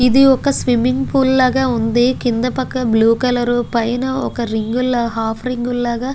ఇది ఒక swimming pool లాగా వుంది కింద పక్క బ్లూ కలరు పైన ఒక రింగు ల హాఫ్ రింగు లగా.